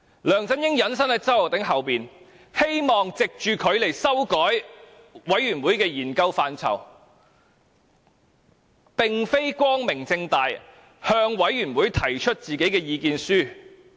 梁振英隱身於周浩鼎議員背後，希望藉着他來修改專責委員會的研究範疇，並非光明正大地向專責委員會提出自己的意見書。